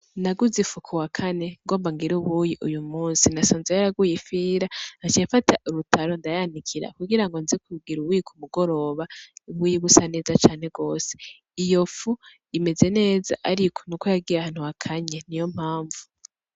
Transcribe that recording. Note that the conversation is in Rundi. Naduze ifu kuwa kawakane ngomba nigire ubuyi uyu musi. Nasanze yaraguye ifira. Naciye mfata urutaro ndayanikira kugira ngo nze kugira ubuyi ku mugoroba, ubuyi busa neza cane gose. Iyo fu imeze neza ariko nuko yagiye ahantu hakanye, niyo mpamvu.